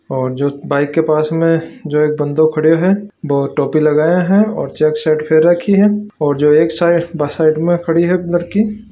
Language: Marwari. और जो बाइक के पास में जो एक बन्दा खड़े है वो टोपी लगाया है ओर चेक शर्ट पैर रखी है और जो एक साइड बस साइड खड़ी है।